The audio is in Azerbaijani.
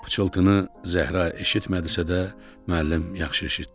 Pıçıltını Zəhra eşitmədisə də, müəllim yaxşı eşitdi.